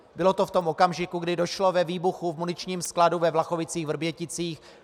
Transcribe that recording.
Bylo to v tom okamžiku, kdy došlo ve výbuchu v muničním skladu ve Vlachovicích-Vrběticích.